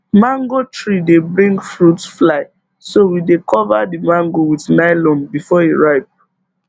mango tree dey bring fruit fly so we dey cover the mango with nylon before e ripe